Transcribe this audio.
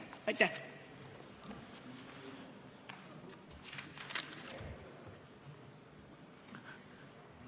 Aitäh!